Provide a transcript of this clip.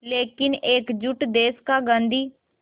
लेकिन एकजुट देश का गांधी